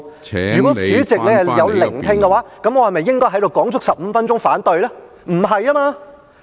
如果主席有聆聽，我是否應該在這裏說足15分鐘"反對"呢？